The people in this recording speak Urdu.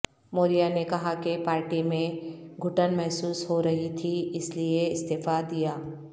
موریا نے کہا کہ پارٹی میں گھٹن محسوس ہو رہی تھی اس لیے استعفی دیا